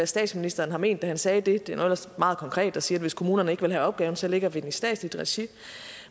statsministeren har ment da han sagde det det er meget konkret at sige at hvis kommunerne ikke vil have opgaven så lægger vi den i statsligt regi